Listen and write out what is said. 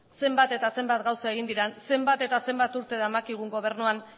zenbat eta zenbat gauza egin diren zenbat eta zenbat urte daramakigun gobernuan